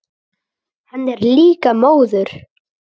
Hann er líka móður.